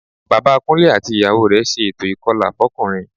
Bàbá Kúnlé àti ìyàwó rẹ̀ ṣe ètò ìkọlà fọ́kùnrin